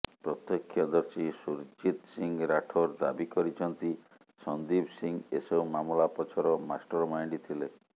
ପ୍ରତ୍ୟକ୍ଷଦର୍ଶୀ ସୁରଜିତ୍ ସିଂ ରାଠୋର ଦାବି କରିଛନ୍ତି ସନ୍ଦୀପ ସିଂ ଏସବୁ ମାମଲା ପଛର ମାଷ୍ଟରମାଇଣ୍ଡ ଥିଲେ